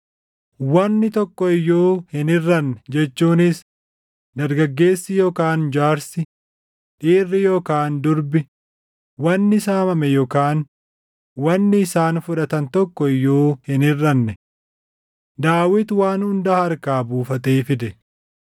Wanni tokko iyyuu hin hirʼanne; jechuunis dargaggeessi yookaan jaarsi, dhiirri yookaan durbi, wanni saamame yookaan wanni isaan fudhatan tokko iyyuu hin hirʼanne. Daawit waan hunda harkaa buufatee fide.